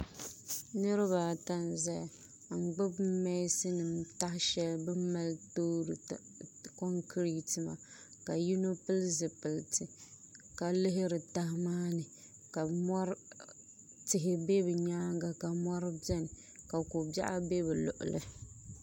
Niraba ata n ʒɛya n gbubi mɛnsin nim taha shɛli bi ni mali toori konkirɛt maa ka yino pili zipiliti ka lihiri taha maa ni ka tihi bɛ ni nyaanga ka mori biɛni ka ko biɛɣu bɛ bi luɣuli